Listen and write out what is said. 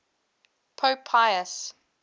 pope pius